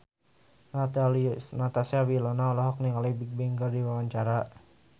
Natasha Wilona olohok ningali Bigbang keur diwawancara